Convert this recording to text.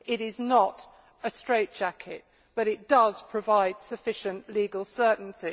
It is not a straitjacket, but it does provide sufficient legal certainty.